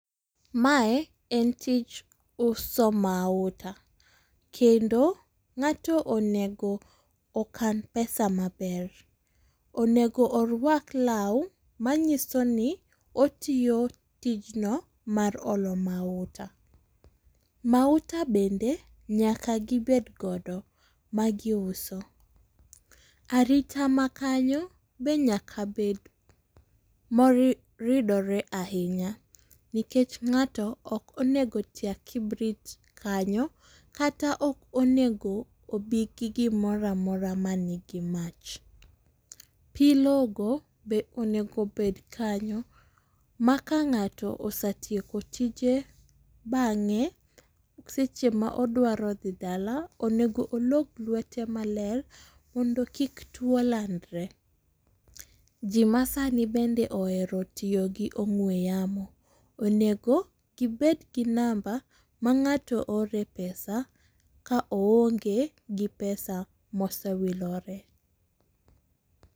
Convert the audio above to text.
Mae en tij uso mauta. kendo ng'ato onego okan pesa maber. Onego orwak law manyiso ni otiyo tijno mar olo mauta. Mauta bende nyaka gibed godo magiuso. Arita ma knayo be nyaka bed moridore ahinya nikech ng'ato ok onego tia kibrit kanyo kata ok onego obigi gimoro amora manigi mach. Pi logo be onego obed kanyo ma ka ng'ato osetieko tije bang'e seche ma odwaro dhi dala, onego olog lwete maber mondo kik tuwo landre. ji ma sani bende ohero tiyo gi ong'we yamo, onego gibed gi namba ma ng'ato ore pesa ka oonge gi pesa ma osewilore.